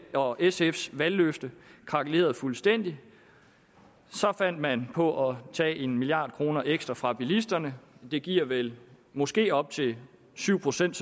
og sfs valgløfte krakelerede fuldstændig så fandt man på at tage en milliard kroner ekstra fra bilisterne det giver vel måske op til syv procent